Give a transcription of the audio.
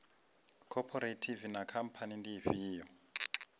khophorethivi na khamphani ndi ifhio